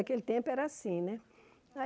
Naquele tempo era assim, né?